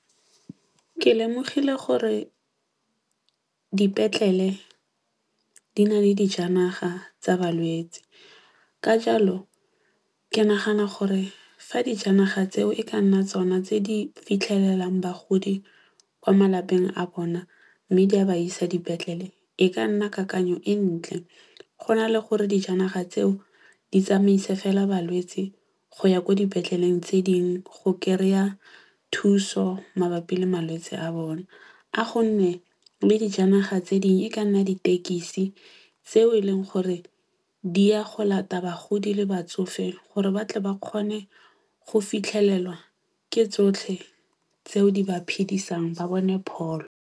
Ke lemogile gore dipetlele di na le dijanaga tsa balwetsi. Ka jalo, ke nagana gore fa dijanaga tseo e ka nna tsona tse di fitlhelelang bagodi kwa malapeng a bona mme di a ba isa dipetlele., e ka nna kakanyo e ntle. Go na le gore dijanaga tseo di tsamaise fela balwetsi go ya ko dipetleleng tse dingwe go kry-a thuso mabapi le malwetse a bone. A gonne le dijanaga tse dingwe e ka nna ditekisi tseo e leng gore di ya go lata bagodi le batsofe gore batle ba kgone go fitlhelelwa ke tsotlhe tseo di ba phidisang ba bone pholo.